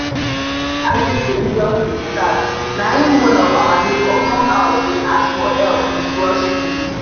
as the film just dey start na im one of our neighbor come house dey ask for help with groceries.